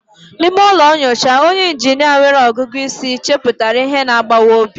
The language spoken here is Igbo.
N'ime ụlọ nyocha, onye injinia nwere ọgụgụ isi chepụtara ihe na-agbawa obi.